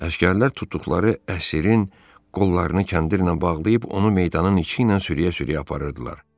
Əsgərlər tutduqları əsrin qollarını kəndirlə bağlayıb, onu meydanın içinə sürüyə-sürüyə aparırdılar.